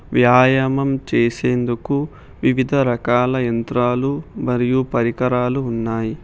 వ్యాయామం చేసేందుకు వివిధ రకాల యంత్రాలు మరియు పరికరాలు ఉన్నాయి.